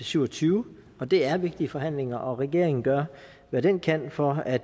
syv og tyve og det er vigtige forhandlinger regeringen gør hvad den kan for at